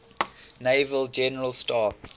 naval general staff